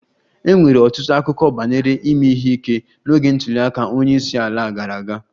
E nwere ọtụtụ akụkọ banyere ime ihe ike n'oge ntuli aka onye isi ala gara aga